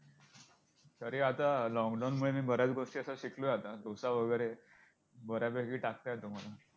तरी आता lockdown मध्ये बऱ्याच गोष्टी अशा शिकलोय आता डोसा वगैरे बऱ्यापैकी टाकता येतो मला!